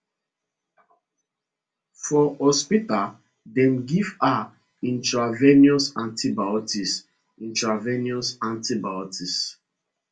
for hospital dem give her intravenous antibiotics intravenous antibiotics